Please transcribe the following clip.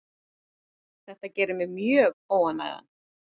Þetta gerir mig mjög óánægðan.